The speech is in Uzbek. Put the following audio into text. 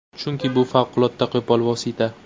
Chunki bu favqulodda qo‘pol vosita.